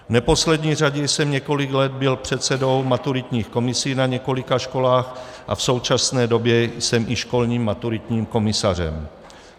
V neposlední řadě jsem několik let byl předsedou maturitních komisí na několika školách a v současné době jsem i školním maturitním komisařem.